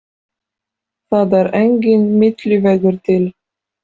Það er enginn milli vegur til.